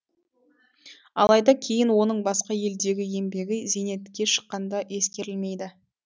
алайда кейін оның басқа елдегі еңбегі зейнетке шыққанда ескерілмейді